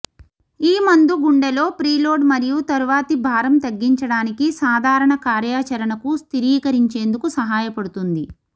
ఈ మందు గుండెలో ప్రీలోడ్ మరియు తరువాతి భారం తగ్గించడానికి సాధారణ కార్యాచరణకు స్థిరీకరించేందుకు సహాయపడుతుంది